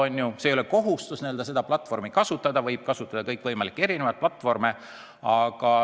Ei oleks aga kohustust seda platvormi kasutada, võiks kasutada kõikvõimalikke erinevaid platvorme.